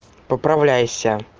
поправляйся